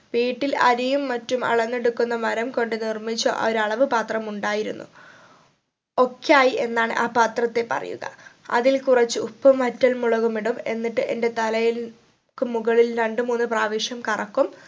വീട്ടിൽ അരിയും മറ്റും അളന്നെടുക്കുന്ന മരം കൊണ്ട് നിർമിച്ച ഒരു അളവ് പത്രം ഉണ്ടായിരുന്നു ഒക്ക്യായി എന്നാണ് ആ പാത്രത്തെ പറയുക അതിൽ കുറച്ച് ഉപ്പും വറ്റൽ മുളകും ഇടും എന്നിട്ട് എന്റെ തലയിൽ ക്ക് മുകളിൽ രണ്ടു മൂന്ന് പ്രാവിശ്യം കറക്കും